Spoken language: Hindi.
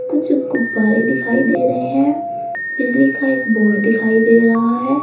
कुछ गुब्बारे दिखाई दे रहे हैं बिजली का एक बोर्ड दिखाई दे रहा है।